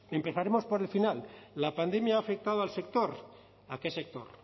empezaremos por el final la pandemia ha afectado al sector a qué sector